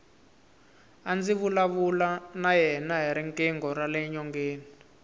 a ndzi vulavula na yena hi riqingho rale nyongeni